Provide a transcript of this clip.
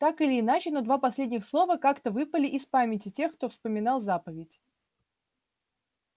так или иначе но два последних слова как-то выпали из памяти тех кто вспоминал заповедь